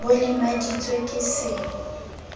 b o lemaditswe ke se